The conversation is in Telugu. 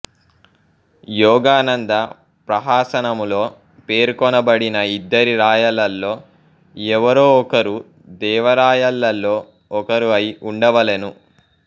యోగానంద ప్రహసనములో పేర్కొనబడిన ఇద్దరి రాయలలో ఎవరో ఒకరు దేవరాయలలో ఒకరు అయి వుండవలెను